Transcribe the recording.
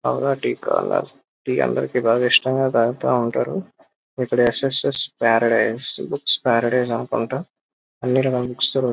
అందరికి టీ అంటే ఇష్టం టీ తాగుతా ఉంటారు. ఇక్కడ S S Paradise. Books Paradise అనుకుంటా. అన్ని రకాల బుక్స్ --